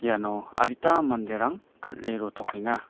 iano adita manderang kal·e rotokenga.